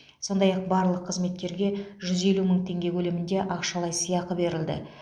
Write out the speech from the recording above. сондай ақ барлық қызметкерге жүз елу мың теңге көлемінде ақшалай сыйақы берілді